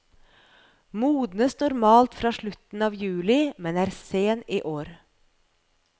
Modnes normalt fra slutten av juli, men er sen i år.